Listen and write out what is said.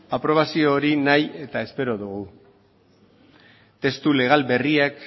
aprobazio hori nahi eta espero dugu testu legal berriak